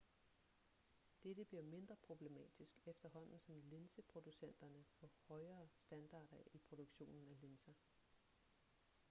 dette bliver mindre problematisk efterhånden som linseproducenterne får højere standarder i produktionen af linser